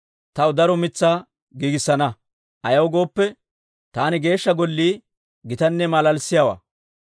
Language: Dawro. taw daro mitsaa giigissana. Ayaw gooppe, taani kees's'iyaa Geeshsha Gollii gitanne malaalissiyaawaa.